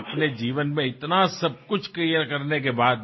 আপুনি মোক কিবা নহয় কিবা এটা গুজৰাটী খাদ্য খুৱায়